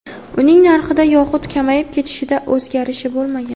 Uning narxida yoxud kamayib ketishida o‘zgarish bo‘lmagan.